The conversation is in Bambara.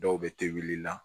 Dɔw bɛ to wuli la